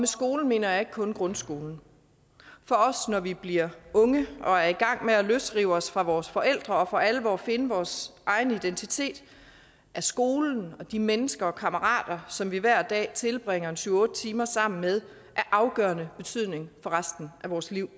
skolen mener jeg ikke kun grundskolen for også når vi bliver unge og er i gang med at løsrive os fra vores forældre og for alvor finde vores egen identitet er skolen og de mennesker og kammerater som vi hver dag tilbringer syv otte timer sammen med af afgørende betydning for resten af vores liv